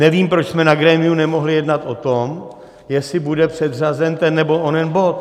Nevím, proč jsme na grémiu nemohli jednat o tom, jestli bude předřazen ten nebo onen bod.